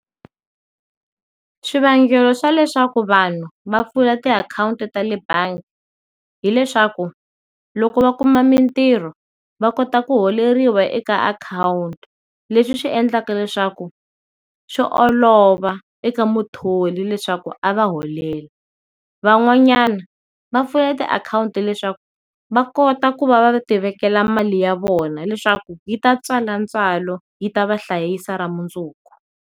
Swivangelo swa leswaku vanhu va pfula ti akhawunti ta le bangi hileswaku loko va kuma mintirho va kota ku holeriwa eka akhawunti, leswi swi endleka leswaku swi olova eka muthori leswaku a va holela. Van'wanyana va pfula ti akhawunti leswaku va kota ku va va ti vekela mali ya vona leswaku yi ta tswala ntswalo yi ta va hlayisa ra mundzuku.